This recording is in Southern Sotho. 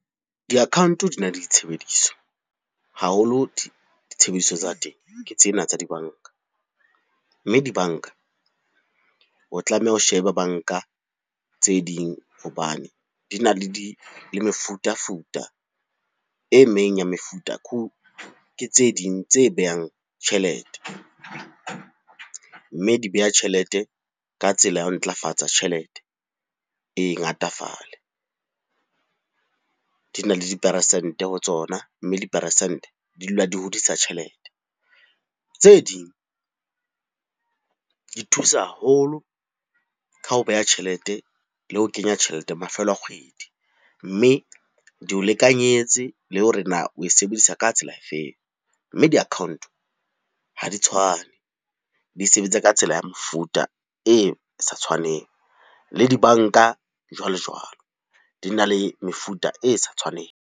Di-account di na le ditshebediso haholo di ditshebediso tsa teng ke tsena tsa dibanka, mme dibanka o tlameha o shebe banka tse ding hobane le mefutafuta e meng ya mefuta ke tse ding tse behang tjhelete, mme di beha tjhelete ka tsela ya ho ntlafatsa tjhelete e ngatafale. Di na le diperesente ho tsona, mme diperesente di dula di hodisa tjhelete tse ding, di thusa haholo ka ho beha tjhelete le ho kenya tjhelete mafelo a kgwedi, mme di o lekanyetse le hore na o e sebedisa ka tsela e feng, mme di-account ha di tshwane, di sebetsa ka tsela ya mofuta e sa tshwaneng le dibanka jwalo jwalo di na le mefuta e sa tshwaneng.